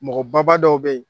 Mɔgɔbaba dɔw bɛ yen.